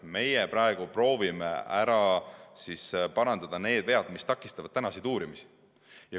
Meie praegu proovime ära parandada need vead, mis takistavad tänaseid uurimisi.